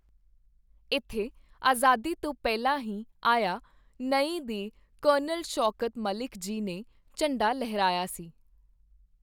ਇੱਥੇ ਆਜ਼ਾਦੀ ਤੋਂ ਪਹਿਲਾਂ ਹੀ ਆਇਆ-ਨਏ ਦੇ ਕਰਨਲ ਸ਼ੌਕਤ ਮਲਿਕ ਜੀ ਨੇ ਝੰਡਾ ਲਹਿਰਾਇਆ ਸੀ।